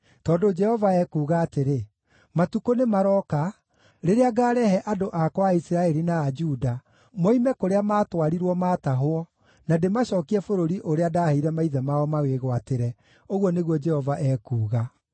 Tondũ Jehova ekuuga atĩrĩ, ‘Matukũ nĩmarooka, rĩrĩa ngaarehe andũ akwa a Isiraeli na a Juda moime kũrĩa maatwarirwo maatahwo na ndĩmacookie bũrũri ũrĩa ndaheire maithe mao mawĩgwatĩre,’ ũguo nĩguo Jehova ekuuga.”